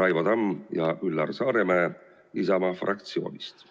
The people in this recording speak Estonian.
Raivo Tamm ja Üllar Saaremäe Isamaa fraktsioonist.